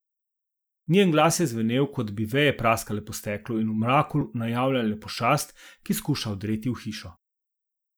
Njen glas je zvenel, kot da bi veje praskale po steklu in v mraku najavljale pošast, ki skuša vdreti v hišo.